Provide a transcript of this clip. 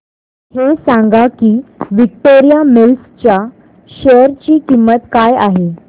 हे सांगा की विक्टोरिया मिल्स च्या शेअर ची किंमत काय आहे